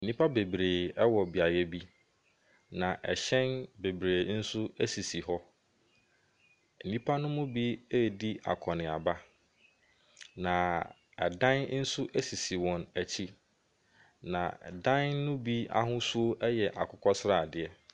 Nnipa bebree wɔ beaeɛ bi. Na ahyɛn hyɛn bebree nso sisi hɔ. Nnipa no mu bi redi akɔnneaba, na adan nso sisi wɔn akyi, na dan no bi ahosuo yɛ akokɔ sradeɛ.